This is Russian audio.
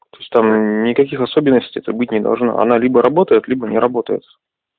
то есть там никаких особенностей это быть не должно она либо работает либо не работает